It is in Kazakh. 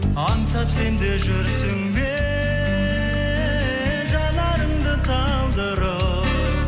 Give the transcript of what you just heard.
аңсап сен де жүрсің бе жанарыңды талдырып